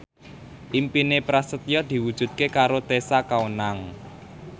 impine Prasetyo diwujudke karo Tessa Kaunang